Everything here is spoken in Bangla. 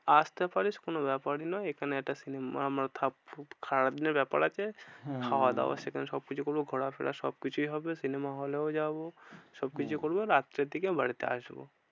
আসতে পারিস কোনো ব্যাপারই নয়। এখানে একটা cinema ব্যাপার আছে। হম হম খাওয়া দাওয়া সেখানে সবকিছু করবো ঘোরাফেরা সবকিছুই হবে। cinema hall এও যাবো। হম সবকিছু করবো রাত্রের দিকে বাড়িতে আসবো।